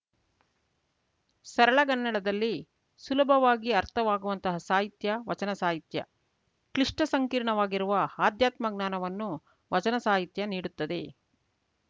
ಸರಳಗನ್ನಡದಲ್ಲಿ ಸುಲಭವಾಗಿ ಅರ್ಥವಾಗುವಂತಹ ಸಾಹಿತ್ಯ ವಚನಸಾಹಿತ್ಯ ಕ್ಲಿಷ್ಟ ಸಂಕೀರ್ಣವಾಗಿರುವ ಆಧ್ಯಾತ್ಮ ಜ್ಞಾನವನ್ನು ವಚನಸಾಹಿತ್ಯ ನೀಡುತ್ತದೆ